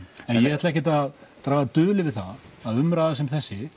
en ég ætla ekkert að draga dul yfir það að umræða sem þessi